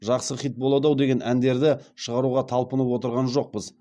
жақсы хит болады ау деген әндерді шығаруға талпынып отырған жоқпыз